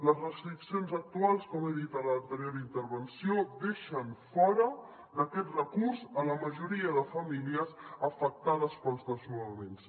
les restriccions actuals com he dit a l’anterior intervenció deixen fora d’aquest recurs la majoria de famílies afectades pels desnonaments